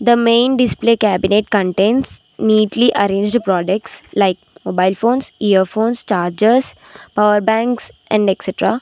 The main display cabinet contains neatly arrange the products like mobile phones earphones chargers power banks and excetera.